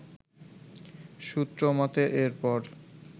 সূত্র মতে এরপর